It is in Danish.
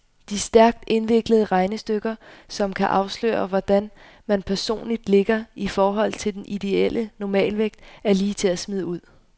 De stærkt indviklede regnestykker, som kan afsløre, hvordan man personligt ligger i forhold til den ideelle normalvægt, er lige til at smide ud.